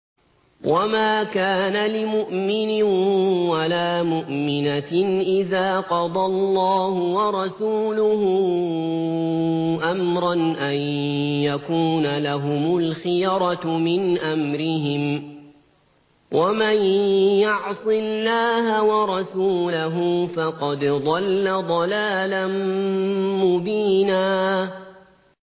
وَمَا كَانَ لِمُؤْمِنٍ وَلَا مُؤْمِنَةٍ إِذَا قَضَى اللَّهُ وَرَسُولُهُ أَمْرًا أَن يَكُونَ لَهُمُ الْخِيَرَةُ مِنْ أَمْرِهِمْ ۗ وَمَن يَعْصِ اللَّهَ وَرَسُولَهُ فَقَدْ ضَلَّ ضَلَالًا مُّبِينًا